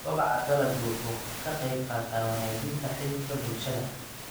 Kobaca dalaggu waxa uu ka qayb qaataa wanaajinta xidhiidhka bulshada.